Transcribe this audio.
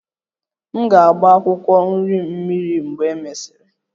M ga-agba akwụkwọ nri m mmiri mgbe e mesịrị